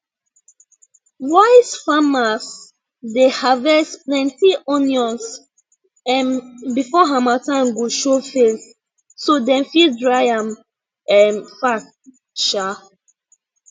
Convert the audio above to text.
wise farmers dey harvest plenty onions um before harmattan go show face so dem fit dry am um fast um